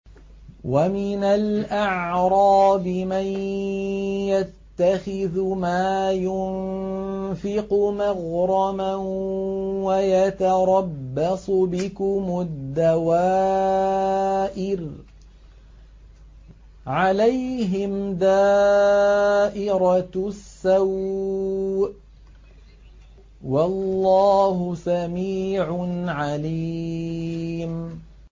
وَمِنَ الْأَعْرَابِ مَن يَتَّخِذُ مَا يُنفِقُ مَغْرَمًا وَيَتَرَبَّصُ بِكُمُ الدَّوَائِرَ ۚ عَلَيْهِمْ دَائِرَةُ السَّوْءِ ۗ وَاللَّهُ سَمِيعٌ عَلِيمٌ